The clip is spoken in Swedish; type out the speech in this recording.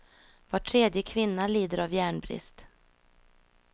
Var tredje kvinna lider av järnbrist.